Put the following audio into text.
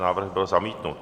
Návrh byl zamítnut.